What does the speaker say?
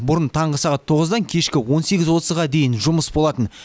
бұрын таңғы сағат тоғыздан кешкі он сегіз отызға дейін жұмыс болатын